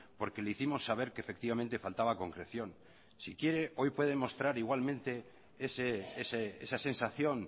porque le hicimos saber que efectivamente faltaba concreción si quiere hoy puede demostrar igualmente esa sensación